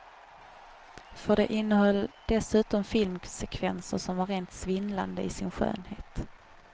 För det innehöll dessutom filmsekvenser som var rent svindlande i sin skönhet.